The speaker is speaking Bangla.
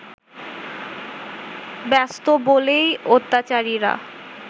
ব্যস্ত বলেই অত্যাচারীরা